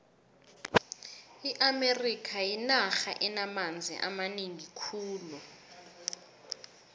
iamerika yinarha enamanzi amanengi khulu